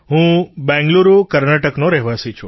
હું બેંગ્લુરુ કર્ણાટકનો રહેવાસી છું